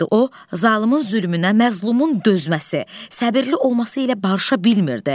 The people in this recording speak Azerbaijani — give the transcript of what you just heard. O, zalımın zülmünə, məzlumun dözməsi, səbirli olması ilə barışa bilmirdi.